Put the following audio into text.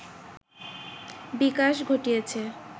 বিকাশ ঘটিয়েছে